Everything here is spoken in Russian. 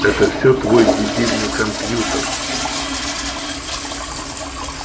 это все твой дебильный компьютер